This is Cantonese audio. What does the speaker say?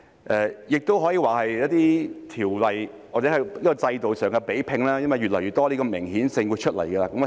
今次亦可以說是一些條例或制度上的比拼，因為越來越多的明顯性會出現。